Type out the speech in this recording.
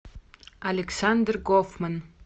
александр гофман